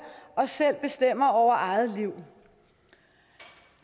og selv bestemmer over eget liv